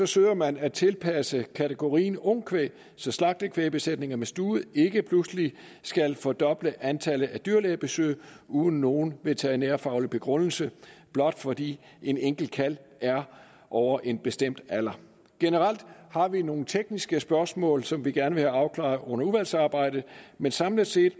søger man at tilpasse kategorien ungkvæg så slagtekvægbesætninger med stude ikke pludselig skal fordoble antallet af dyrlægebesøg uden nogen veterinærfaglig begrundelse blot fordi en enkelt kalv er over en bestemt alder generelt har vi nogle tekniske spørgsmål som vi gerne vil have afklaret under udvalgsarbejdet men samlet set